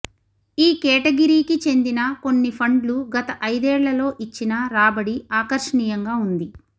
ఈ కేటగిరీకి చెందిన కొన్ని ఫండ్లు గత ఐదేళ్లలో ఇచ్చిన రాబడి ఆకర్షణీయంగా ఉంది